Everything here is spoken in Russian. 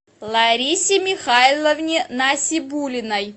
ларисе михайловне насибуллиной